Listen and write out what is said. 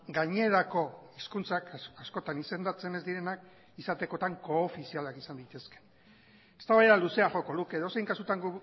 gainerako hizkuntzak askotan izendatzen ez direnak izatekotan koofizialak izan daitezke eztabaida luzea joko luke edozein kasutan